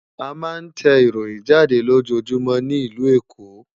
A ma ń tẹ ìròyìn jáde lójoójúmọ́ ní ìlú Èkó